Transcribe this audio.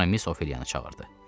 Sonra Miss Ofeliyanı çağırdı.